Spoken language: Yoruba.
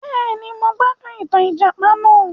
Béèni, mo gbádùn ìtàn ìjàpà náà